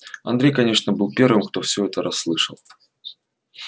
андрей конечно был первым кто всё это расслышал